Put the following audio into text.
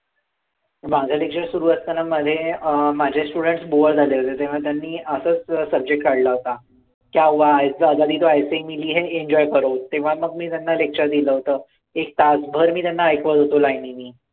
माझं lecture सुरू असताना मध्ये अं माझे students बुआ झाले होते तेव्हा त्यांनी असाच subject काढला होता तेव्हा मग मी त्यांना lecture दिलं होतं एक तासभर मी त्यांना ऐकवत होतो line नी